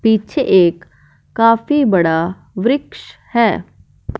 पीछे एक काफी बड़ा वृक्ष है।